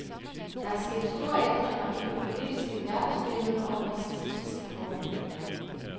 Der er sket store ændringer i det politiske verdensbillede over de sidste ti år.